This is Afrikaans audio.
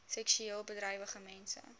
seksueel bedrywige mense